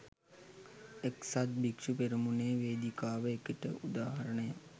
එක්සත් භික්‍ෂු පෙරමුණේ වේදිකාව ඒකට උදාහරණයක්